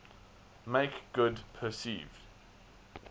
make good perceived